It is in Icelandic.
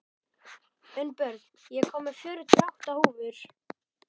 Unnbjörn, ég kom með fjörutíu og átta húfur!